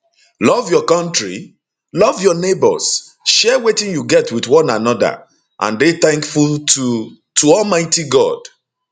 love your kontri love your neighbours share wetin you get wit one anoda and dey tankful to to almighty god